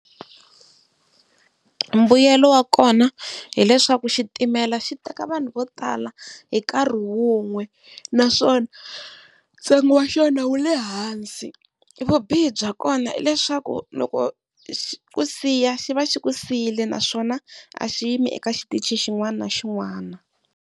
Mbuyelo wa kona hileswaku xitimela xi teka vanhu vo tala hi nkarhi wun'we naswona ntsengo wa xona wu le hansi. Vubihi bya kona i leswaku loko xi ku siya xi va xi ku siyile naswona a xi yime eka xitichi xin'wana na xin'wana.